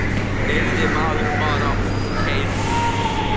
Yrði maður bara útkeyrður?